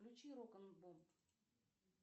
включи рок н бум